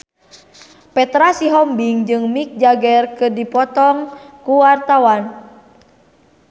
Petra Sihombing jeung Mick Jagger keur dipoto ku wartawan